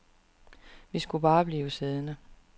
Vi skulle bare blive siddende.